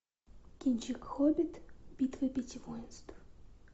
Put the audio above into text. кинчик хоббит битва пяти воинств